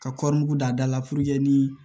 Ka kɔri da da la ni